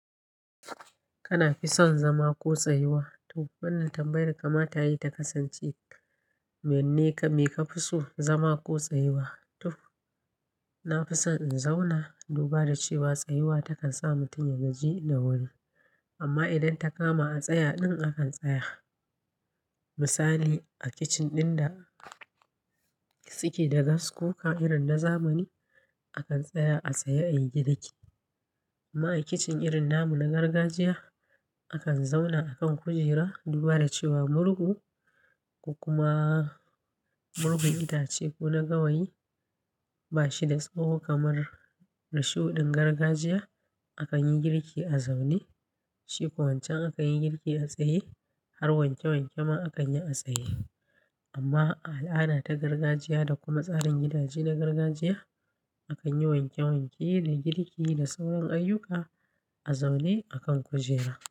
Kana fi son zama ko tsayuwa? To wannan tambayar kama tayi ta kasance, menene ka fi so zama ko tsayuwa? To na fi son in zauna, duba da cewa tsayuwa takan sa mutum ya gaji da wuri. Amma idan ta kama a tsaya ɗin akan tsaya. Misali a kicin ɗin da suke da gas kuka irin na zamani, akan tsaya a tsaye a yi girki. Amma a kicin irin namu na gargajiya, akan zauna a kan kujera duba da cewa murhu, ko kuma murhun itace ko na gawayi ba shi da tsawo kamar risho ɗin gargajiya. Akan yi girki a zaune, shi ko wancan akan yi girki a tsaye, har wanke wanke ma akan yi a tsaye. Amma al'ada ta gargajiya da kuma tsarin gidaje na gargajiya, akan yi wanke wanke da girki da sauran ayyuka a zaune a kan kujera.